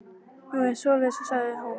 Nú, er það svoleiðis, sagði hún.